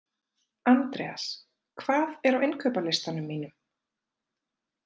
Andreas, hvað er á innkaupalistanum mínum?